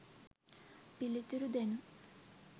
පිළිතුරු දෙනු